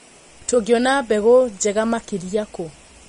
Tũngiona mbegũ njega makĩria kũ.